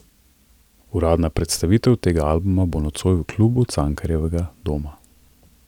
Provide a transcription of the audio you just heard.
Uradna predstavitev tega albuma bo nocoj v Klubu Cankarjevega doma.